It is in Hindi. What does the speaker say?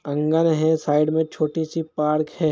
आँगन है साइड में छोटी सी पार्क है।